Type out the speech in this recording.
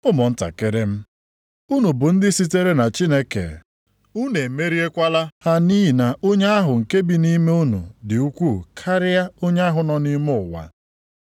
Ụmụntakịrị m, unu bụ ndị sitere na Chineke, unu emeriekwala ha nʼihi na onye ahụ nke bi nʼime unu dị ukwuu karịa onye ahụ nọ nʼime ụwa.